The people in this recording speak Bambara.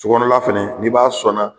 Co kɔnɔla fɛnɛ n'i b'a sɔnna